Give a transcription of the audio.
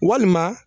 Walima